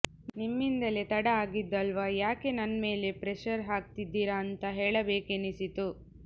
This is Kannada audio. ನಿಮ್ಮಿಂದಲೇ ತಡ ಆಗಿದ್ದಲ್ವಾ ಯಾಕೆ ನನ್ ಮೇಲೆ ಪ್ರೆಶರ್ ಹಾಕ್ತಿದ್ದೀರಾ ಅಂತ ಹೇಳಬೇಕೆನಿಸಿತು